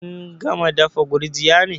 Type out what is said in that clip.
Kun gama dafa gurjiya ne?